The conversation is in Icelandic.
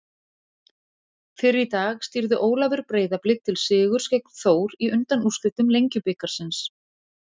Fyrr í dag stýrði Ólafur Breiðablik til sigurs gegn Þór í undanúrslitum Lengjubikarsins.